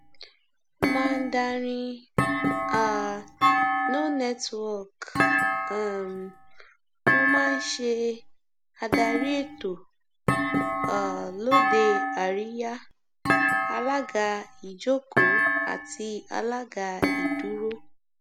mandarin um no networkhmm mo máa ń ṣe adarí ètò um lóde àríyá alága ìjókòó àti alága ìdúró